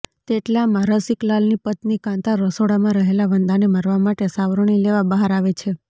તેટલામાં રસિકલાલની પત્ની કાન્તા રસોડામાં રહેલા વંદાને મારવા માટે સાવરણી લેવા બહાર આવે છે